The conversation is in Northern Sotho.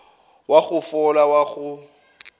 wa go fola wa go